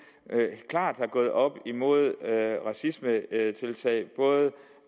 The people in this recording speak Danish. agf er gået op imod racisme både